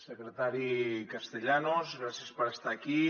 secretari castellanos gràcies per estar aquí